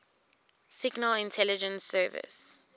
signal intelligence service